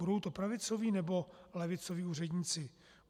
Budou to pravicoví, nebo levicoví úředníci?